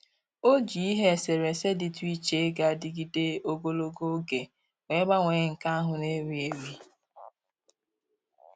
O ji ihe eserese dịtụ iche ga-adịgịde ogologo oge wee gbanwee nke ahụ na-ewi ewi